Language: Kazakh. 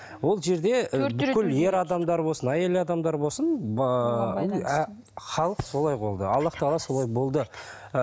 ол жерде і бүкіл ер адамдар болсын әйел адамдар болсын ыыы халық солай болды аллах тағала солай болды